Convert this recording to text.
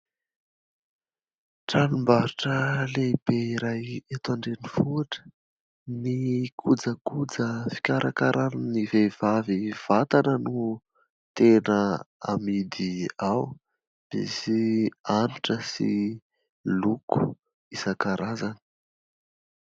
Tranom-barotra lehibe iray eto an-drenivohitra. Ny kojakoja fikarakaran'ny vehivavy vatana no tena amidy ao. Misy hanitra sy loko isan-karazany.